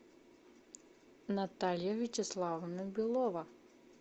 наталья вячеславовна белова